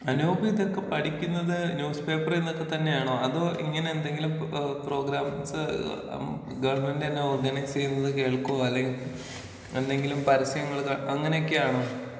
അനൂപ് ഇതൊക്കെ പഠിക്കുന്നത് ന്യൂസ് പേപ്പറിൽ നിന്നൊക്കെ തന്നെയാണോ അതോ ഇങ്ങനെ എന്തെങ്കിലും ഏ പ്രോഗ്രാംസ് അം ഗവൺമെന്റന്നെ ഓർഗനൈസീതത് കേൾക്കോ അല്ലെങ്കി എന്തെങ്കിലും പരസ്യങ്ങള് കാ അങ്ങനെയൊക്കെയാണോ.